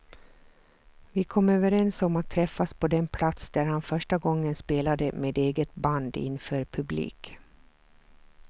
Vi kom överens om att träffas på den plats där han första gången spelade med eget band inför publik.